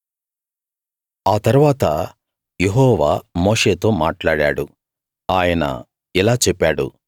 ఆ తరువాత యెహోవా మోషేతో మాట్లాడాడు ఆయన ఇలా చెప్పాడు